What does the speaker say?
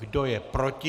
Kdo je proti?